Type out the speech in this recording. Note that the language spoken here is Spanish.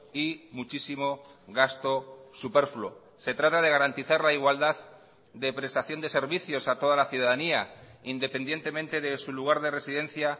y muchísimo gasto superfluo se trata de garantizar la igualdad de prestación de servicios a toda la ciudadanía independientemente de su lugar de residencia